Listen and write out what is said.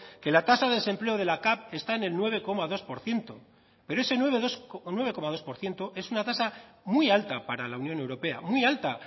que la tasa de desempleo de la cav está en el nueve coma dos por ciento pero ese nueve coma dos por ciento es una tasa muy alta para la unión europea muy alta